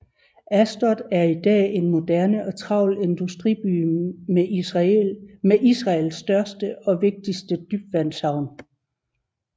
Ashdod er i dag en moderne og travl industriby med Israels største og vigtigste dybvandshavn